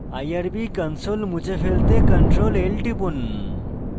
irb console মুছে ফেলতে ctrl + l টিপুন